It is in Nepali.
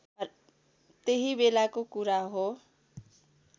त्यही बेलाको कुरा हो